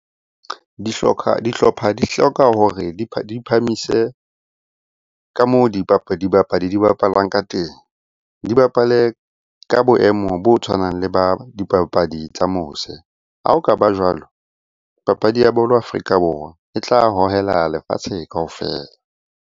Dihlopha di hloka hore di phamise ka moo dibapadi di bapalang ka teng. Di bapale ka boemo bo tshwanang le ba dipapadi tsa mose. Ha okaba jwalo, papadi ya bolo Afrika Borwa e tla hohela lefatshe kaofela.